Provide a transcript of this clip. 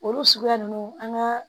Olu suguya ninnu an ka